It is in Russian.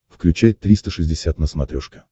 включай триста шестьдесят на смотрешке